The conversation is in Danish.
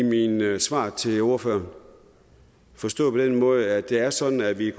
mild i mine svar til ordføreren forstået på den måde at det er sådan at vi